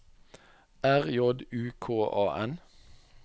R J U K A N